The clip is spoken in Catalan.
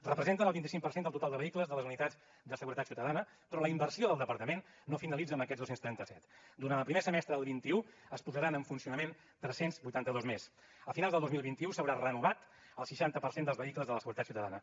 representen el vint cinc per cent del total de vehicles de les unitats de seguretat ciutadana però la inversió del departament no finalitza amb aquests dos cents i trenta set durant el primer semestre del vint un se’n posaran en funcionament tres cents i vuitanta dos més a finals del dos mil vint u s’haurà renovat el seixanta per cent dels vehicles de la seguretat ciutadana